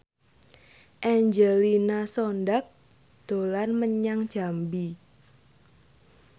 Angelina Sondakh dolan menyang Jambi